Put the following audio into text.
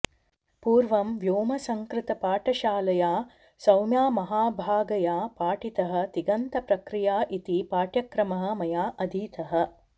पूर्वं व्योमसंकृतपाठशालया सौम्यामहाभागया पाठितः तिङन्तप्रक्रिया इति पाठ्यक्रमः मया अधीतः